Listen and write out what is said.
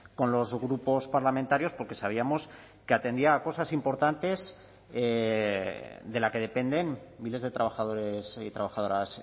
con los grupos parlamentarios porque sabíamos que atendía a cosas importantes de la que dependen miles de trabajadores y trabajadoras